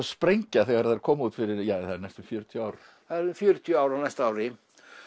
sprengja þegar þær komu út fyrir ja það eru næstum fjörutíu ár það eru fjörutíu ár á næsta ári